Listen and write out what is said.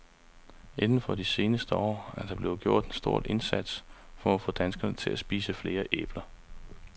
Inden for de seneste år er der blevet gjort en stor indsats for at få danskerne til at spise flere æbler.